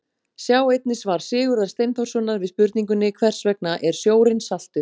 Sjá einnig svar Sigurðar Steinþórssonar við spurningunni Hvers vegna er sjórinn saltur?.